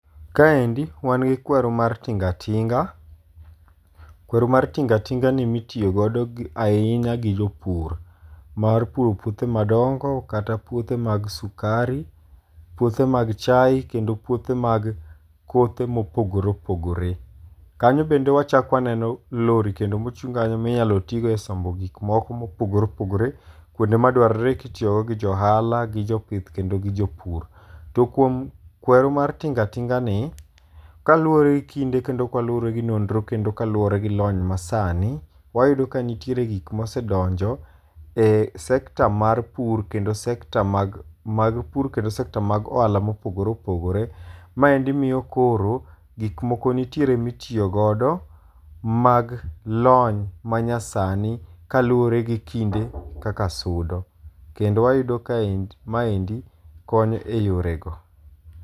Kaendi wan gi kweru mar tingatinga. Kweru mar tingatinga ni mitiyo godo ahinya gi jopur mar puro puothe madongo kata puothe mag sukari, puothe mag chai kendo puothe mag kothe mopogore opogore. Kanyo bende wachako waneno lori kendo mochung' kanyo minyalo ti go e sombo gik moko mopogore opogore, kuonde ma dwarore kitiyogo gi jo ohala, gi jo pith kendo gi jopur. To kuom kweru mar tingatinga ni, kaluwore kinde kendo kaluwore gi nonro kendo kaluwore gi lony masani, wayudo ka nitiere gik mosedonjo e sekta mar pur, kendo sekta mag pur, kendo sekta mag ohala mopogore opogore. Maendi miyo koro, gik moko nitiere mitiyo godo mag lony manyasani kaluwore gi kinde kaka sudo. Kendo wayudo ka maendi konyo e yore go.